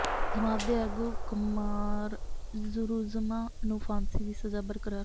ਜਮਾਤ ਦੇ ਆਗੂ ਕੁਮਾਰੂਜ਼ਮਾਂ ਨੂੰ ਫਾਂਸੀ ਦੀ ਸਜ਼ਾ ਬਰਕਰਾਰ